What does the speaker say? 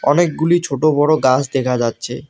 অনেকগুলি ছোটো বড়ো গাছ দেখা যাচ্ছে।